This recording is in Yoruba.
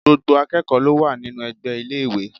Gbogbo akẹ́kọ̀ọ́ ló wà nínú ẹgbẹ́ iléèwé